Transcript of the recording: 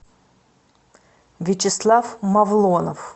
вячеслав мавлонов